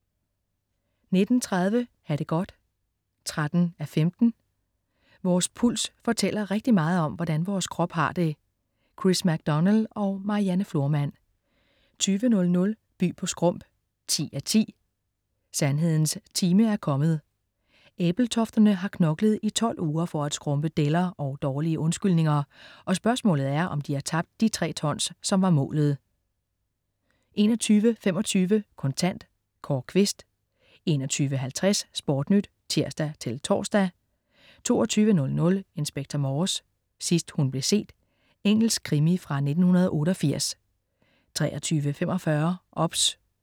19.30 Ha' det godt 13:15. Vores puls fortæller rigtig meget om, hvordan vores krop har det. Chris MacDonald og Marianne Florman 20.00 By på Skrump 10:10. Sandhedens time er kommet. Ebeltofterne har knoklet i 12 uger for at skrumpe deller og dårlige undskyldninger, og spørgsmålet er, om de har tabt de tre tons, som var målet? 21.25 Kontant. Kåre Quist 21.50 SportNyt (tirs-tors) 22.00 Inspector Morse: Sidst hun blev set. Engelsk krimi fra 1988 23.45 OBS